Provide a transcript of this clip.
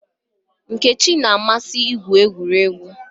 Nkechi na-amasị igwu egwuregwu.